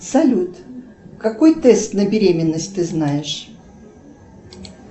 салют какой тест на беременность ты знаешь